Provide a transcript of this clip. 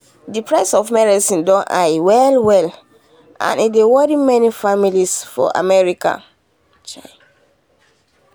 the price of medicine don high well well and e dey worry many families for america.